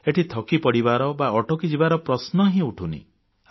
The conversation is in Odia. ଏଠି ଥକିପଡ଼ିବାର ବା ଅଟକିଯିବାର ପ୍ରଶ୍ନ ଉଠୁନି